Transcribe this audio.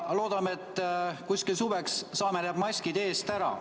Loodame, et suveks saame need maskid eest ära.